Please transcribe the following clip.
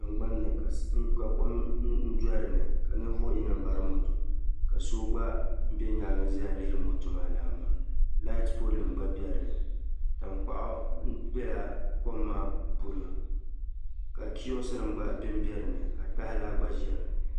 Tingbanni ka kom do' dinni ka ninvuhi yino m-bari moto ka so gba bɛ nyaaŋa za lihiri moto maa lana maa "light pole" nim gba bɛ dinni tankpaɣu n bɛla kom maa polo ka "kioos"nima gba din bɛ dinni ka tahi laa gba ze dinni